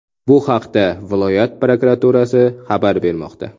Bu haqda viloyat prokuraturasi xabar bermoqda .